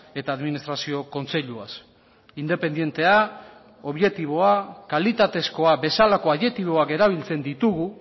eta administrazio kontseiluaz independentea objektiboa kalitatezkoa bezalako adjektiboak erabiltzen ditugu